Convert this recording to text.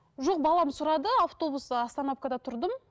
жоқ балам сұрады автобус остановкада тұрдым